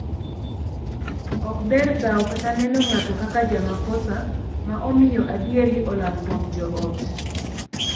Ok ber dhaw kata neno ng'ato kaka jamakosa ma omiyo adieri olal kuom joot.